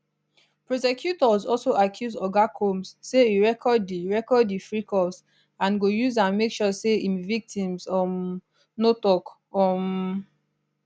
prosecutors also accuse oga combs say e record di record di freakoffs and go use am make sure say im victims um no tok um